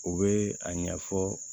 U bɛ a ɲɛfɔ